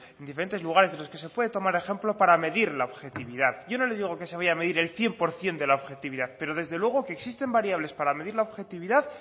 diferentes lugares de los que se puede tomar ejemplo para medir la objetividad yo no le digo que se vaya a medir el cien por ciento de la objetividad pero desde luego que existen variables para medir la objetividad